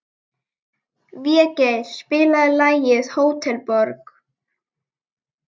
Végeir, spilaðu lagið „Hótel Borg“.